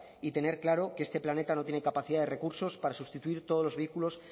y tener claro que este planeta no tiene capacidad de recursos para sustituir todos los vehículos